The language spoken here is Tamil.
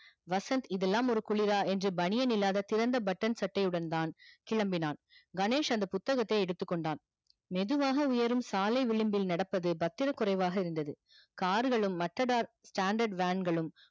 வசந்த் இதுலாம் ஒரு குளிரா என்று பனியன் இல்லாத திறந்த button சட்டையுடன் இருந்தான் கிளம்பினான் கணேஷ் அந்த புத்தகத்தை எடுத்து கொண்டான் மெதுவாக உயரும் சாலை விழும்பில் நடப்பது பத்திர குறைவாக இருந்தது car லும் standard van களும்